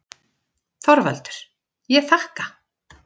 ÞORVALDUR: Ég þakka.